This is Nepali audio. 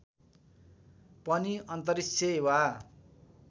पनि अन्तरिक्ष वा